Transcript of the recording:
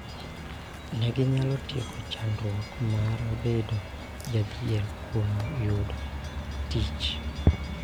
Ne ginyalo tieko chandruok mar bedo jodhier kuom yudo tich .